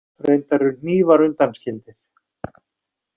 Reyndar eru hnífar undanskildir.